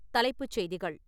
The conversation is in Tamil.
தலைப்புச் செய்திகள்